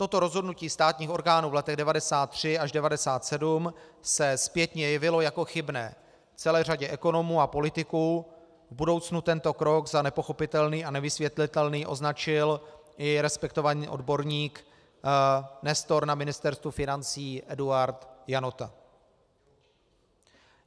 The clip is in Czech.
Toto rozhodnutí státních orgánů v letech 1993 až 1997 se zpětně jevilo jako chybné celé řadě ekonomů a politiků, v budoucnu tento krok za nepochopitelný a nevysvětlitelný označil i respektovaný odborník, nestor na Ministerstvu financí Eduard Janota.